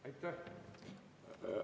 Aitäh!